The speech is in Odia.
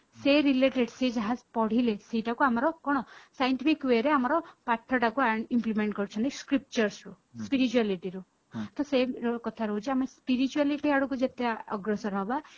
ସେ related ସେ ଯାହା ପଢିଲେ ସେଇଟାକୁ ଆମର କଣ scientific way ରେ ଆମର ପାଠ ଟାକୁ implement କରୁଛନ୍ତି scriptures ରୁ spirituality ରୁ କି ସେ କଥା ରହୁଛି ଆମ spirituality ଆଡକୁ ଯେତେ ଅଗ୍ରସର ହବା